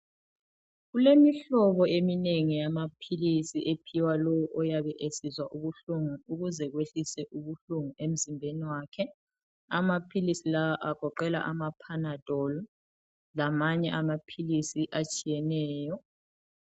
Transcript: Kulemihlobo eminengi yamaphilisi ephiwa lowo oyabe esizwa ubuhlungu ukuze kwehliswe ubuhlungu emzimbeni wakhe amaphilisi lawa agoqela amapadol lamanye amaphilisi atshiyeneyo.